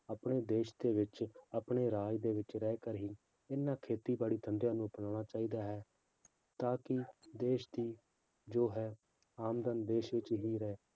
ਆਪਣੇ ਦੇਸ ਦੇ ਵਿੱਚ ਆਪਣੇ ਰਾਜ ਦੇ ਵਿੱਚ ਰਹਿ ਕਰ ਹੀ ਇਹਨਾਂ ਖੇਤੀਬਾੜੀ ਧੰਦਿਆਂ ਨੂੰ ਅਪਨਾਉਣਾ ਚਾਹੀਦਾ ਹੈ ਤਾਂ ਕਿ ਦੇਸ ਦੀ ਜੋ ਹੈ ਆਮਦਨ ਦੇਸ ਵਿੱਚ ਹੀ ਰਹੇ